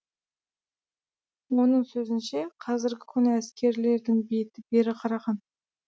оның сөзінше қазірігі күні әскерилердің беті бері қараған